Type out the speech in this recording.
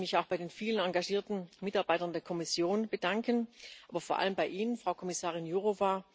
Ich möchte mich auch bei den vielen engagierten Mitarbeitern der Kommission bedanken, aber vor allem bei Ihnen, Frau Kommissarin Jourová.